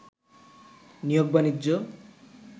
নিয়োগ-বাণিজ্য